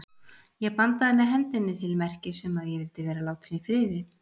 Ég bandaði með hendinni til merkis um að ég vildi vera látin í friði.